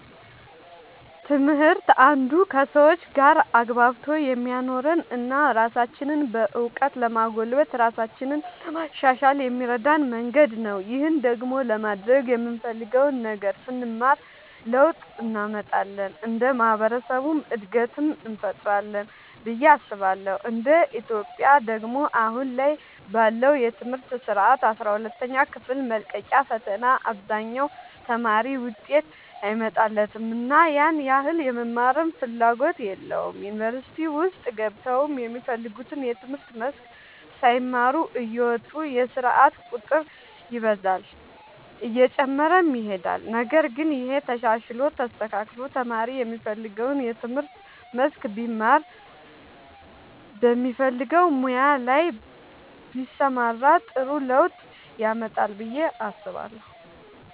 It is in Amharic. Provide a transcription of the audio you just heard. ትምህርት አንዱ ከሰዎች ጋር አግባብቶ የሚያኖረን እና ራሳችንንም በእውቀት ለማጎልበት ራሳችንን ለማሻሻል የሚረዳን መንገድ ነው። ይህን ደግሞ ለማድረግ የምንፈልገውን ነገር ስንማር ለውጥ እንመጣለን እንደ ማህበረሰብም እድገትን እንፈጥራለን ብዬ አስባለሁ እንደ ኢትዮጵያ ደግሞ አሁን ላይ ባለው የትምህርት ስርዓት አስራ ሁለተኛ ክፍል መልቀቂያ ፈተና አብዛኛው ተማሪ ውጤት አይመጣለትምና ያን ያህል የመማርም ፍላጎት የለውም ዩኒቨርሲቲ ውስጥ ገብተውም የሚፈልጉትን የትምህርት መስክ ሳይማሩ እየወጡ የስርዓት ቁጥር ይበዛል እየጨመረም ይሄዳል ነገር ግን ይሄ ተሻሽሎ ተስተካክሎ ተማሪ የሚፈልገውን የትምህርት መስክ ቢማር በሚፈልገው ሙያ ላይ ቢሰማራ ጥሩ ለውጥ ያመጣል ብዬ አስባለሁ።